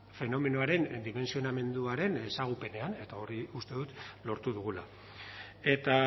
fenomenoaren dimentsionamenduaren ezagupenean eta hori uste dut lortu dugula eta